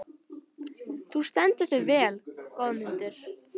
Þú stendur þig vel, Goðmundur!